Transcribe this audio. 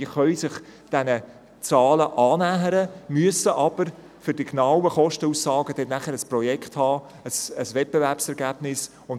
Sie können sich diesen Zahlen annähern, müssen jedoch ein Projekt, also ein Wettbewerbsergebnis haben, um eine genaue Kostenaussage machen zu können.